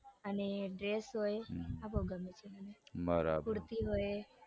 અને dress હોય આ બઉ ગમે છે મને બરાબર કુર્તી હોય.